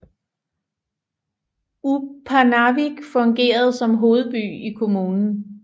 Upernavik fungerede som hovedby i kommunen